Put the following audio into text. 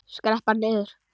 Skrepp bara niður.